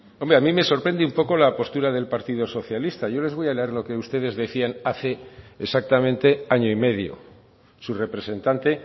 hombre a mí me sorprende un poco la postura del partido socialista yo les voy a leer lo que ustedes decían hace exactamente año y medio su representante